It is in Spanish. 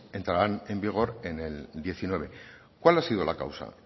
entraran en vigor en el diecinueve cuál ha sido la causa